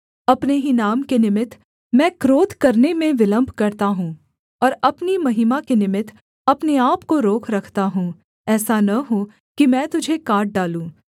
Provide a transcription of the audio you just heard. अपने ही नाम के निमित्त मैं क्रोध करने में विलम्ब करता हूँ और अपनी महिमा के निमित्त अपने आपको रोक रखता हूँ ऐसा न हो कि मैं तुझे काट डालूँ